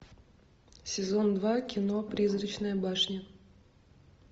сезон два кино призрачная башня